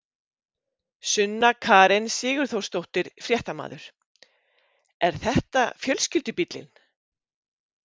Sunna Karen Sigurþórsdóttir, fréttamaður: Er þetta fjölskyldubíllinn?